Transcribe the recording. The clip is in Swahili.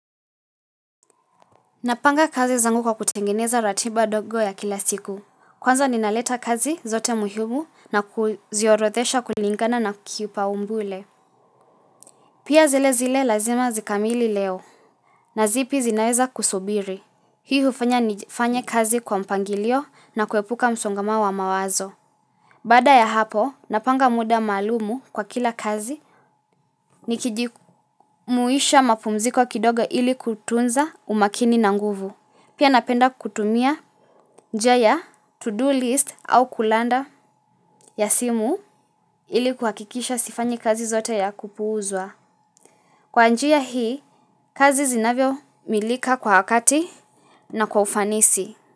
Napanga kazi zangu kwa kutengeneza ratiba ndogo ya kila siku. Kwanza ninaleta kazi zote muhimu na kuziorodhesha kulingana na kipaumbele. Pia zile zile lazima zikamili leo. Na zipi zinaweza kusubiri. Hii hufanya nifanye kazi kwa mpangilio na kuepuka msongamano wa mawazo. Baada ya hapo napanga muda maalumu kwa kila kazi. Nikijimuisha mapumziko kidogo ili kutunza umakini na nguvu. Pia napenda kutumia njia ya to-do list au kulanda ya simu ili kuhakikisha sifanyi kazi zote ya kupuuzwa. Kwa njia hii kazi zinakamilika kwa wakati na kwa ufanisi.